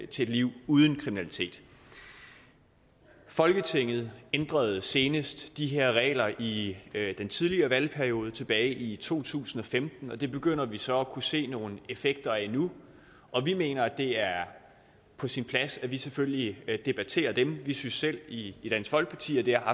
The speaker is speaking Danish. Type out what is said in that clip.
til et liv uden kriminalitet folketinget ændrede senest de her regler i den tidligere valgperiode tilbage i to tusind og femten og det begynder vi så at kunne se nogle effekter af nu vi mener at det er på sin plads at vi selvfølgelig debatterer dem vi synes selv i dansk folkeparti at der